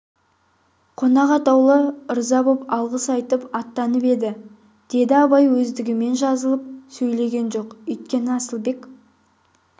қонақ атаулы ырза боп алғыс айтып аттанып еді деді абай өздігімен жазылып сөйлеген жоқ өйткені асылбек